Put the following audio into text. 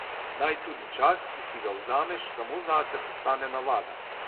Naj tudi čas, ki si ga vzameš samo zase, postane navada.